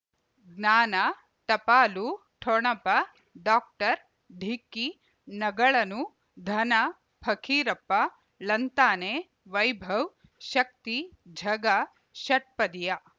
ಜ್ಞಾನ ಟಪಾಲು ಠೊಣಪ ಡಾಕ್ಟರ್ ಢಿಕ್ಕಿ ಣಗಳನು ಧನ ಫಕೀರಪ್ಪ ಳಂತಾನೆ ವೈಭವ್ ಶಕ್ತಿ ಝಗಾ ಷಟ್ಪದಿಯ